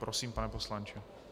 Prosím, pane poslanče.